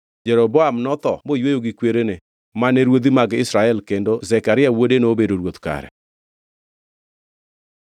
Jeroboam notho moyweyo gi kwerene, mane ruodhi mag Israel kendo Zekaria wuode nobedo ruoth kare.